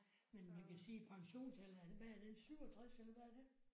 Men man kan sige pensionsalderen hvad er den 67 eller hvad er den?